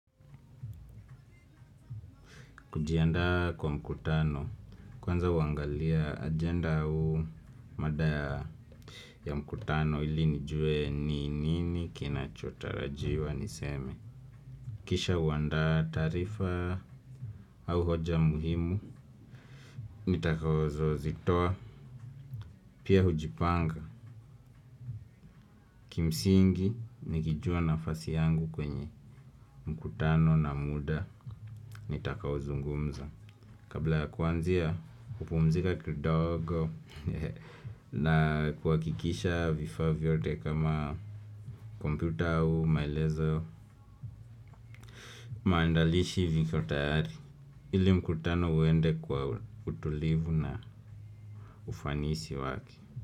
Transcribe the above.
Kujiandaa kwa mkutano, kwanza huangalia agenda au mada ya ya mkutano ili nijue ni nini kinachotarajiwa niseme. Kisha huandaa taarifa au hoja muhimu, nitakazozitoa. Pia hujipanga, kimsingi nikijua nafasi yangu kwenye mkutano na muda, nitakaozungumza. Kabla ya kuanzia, kupumzika kidogo na kuhakikisha vifaa vyote kama kompyuta au, maelezo maandalishi viko tayari, ili mkutano uende kwa utulivu na ufanisi wake.